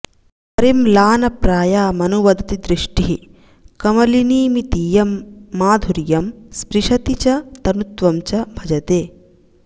परिम्लानप्रायामनुवदति दृष्टिः कमलिनीमितीयं माधुर्यं स्पृशति च तनुत्वं च भजते